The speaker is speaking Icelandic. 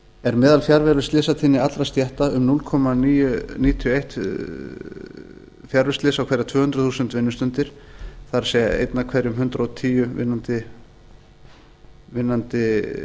er meðalfjarveruslysatíðni allra stétta um núll komma níutíu og eitt fjarveruslys á hverjar tvö hundruð þúsund vinnustundir það er eitt af hverjum hundrað og tíu vinnandi